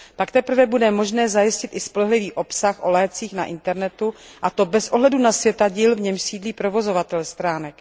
Pak teprve bude možné zajistit i spolehlivý obsah o lécích na internetu, a to bez ohledu na světadíl, v němž sídlí provozovatel stránek.